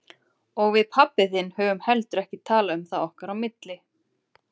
Og við pabbi þinn höfum heldur ekki talað um það okkar á milli.